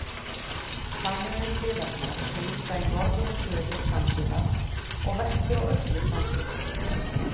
Þannig eru hliðarnar sem vísa í norður og suður samsíða og vestur og austur samsíða.